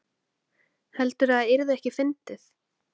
Heldurðu að það yrði ekki fyndið?